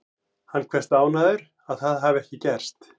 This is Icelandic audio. Hann kveðst ánægður að það hafi ekki gerst.